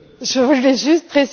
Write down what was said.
Monsieur le Président,